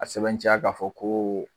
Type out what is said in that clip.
A sɛbɛnciya k'a fɔ ko